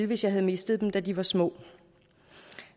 hvis jeg havde mistet dem da de var små det